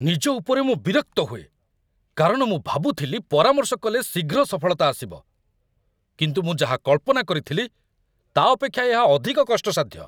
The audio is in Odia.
ନିଜ ଉପରେ ମୁଁ ବିରକ୍ତ ହୁଏ, କାରଣ ମୁଁ ଭାବୁଥିଲି ପରାମର୍ଶ କଲେ ଶୀଘ୍ର ସଫଳତା ଆସିବ, କିନ୍ତୁ ମୁଁ ଯାହା କଳ୍ପନା କରିଥିଲି, ତା' ଅପେକ୍ଷା ଏହା ଅଧିକ କଷ୍ଟସାଧ୍ୟ।